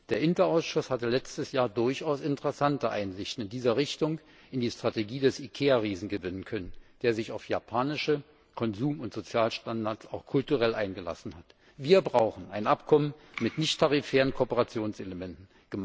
Der INTA Ausschuss hatte letztes Jahr durchaus interessante Einsichten in dieser Hinsicht in die Strategie des IKEA Riesen gewinnen können, der sich auf japanische Konsum und Sozialstandards auch kulturell eingelassen hat. Wir brauchen ein Abkommen mit nicht tarifären Kooperationselementen.